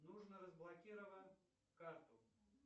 нужно разблокировать карту